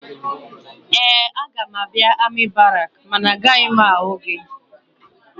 Ee, aga m abịa amị barakị mana agaghị m ahụ gị.